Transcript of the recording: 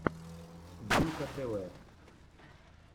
диммка тв